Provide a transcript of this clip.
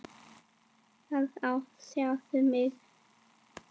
Það á síður við mig.